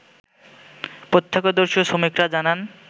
প্রত্যক্ষদর্শী ও শ্রমিকরা জানান